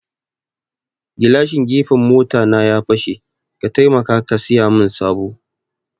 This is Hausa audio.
Gilashin gefen mota na ya fashe, ka taimaka ka siyamin sabo